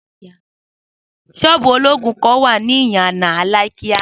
Sóòbù olóògùn kan wá ní ìyànà Alákíá